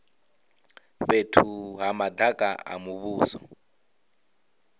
fhethu ha madaka a muvhuso